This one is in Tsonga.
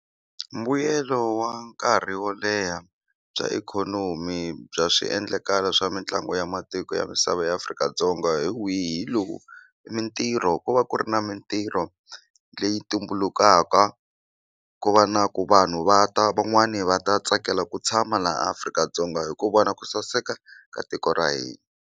Mbuyelo wa nkarhi wo leha bya ikhonomi bya swiendlakalo swa mitlangu ya matiko ya misava ya Afrika-Dzonga hi wihi hi lowu i mintirho ku va ku ri na mintirho leyi tumbulukaka ku va na ku vanhu va ta van'wani va ta tsakela ku tshama laha Afrika-Dzonga hi ku vona ku saseka ka tiko ra hina.